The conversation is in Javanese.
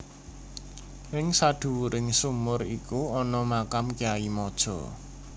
Ing sadhuwuring sumur iku ana makam Kyai Mojo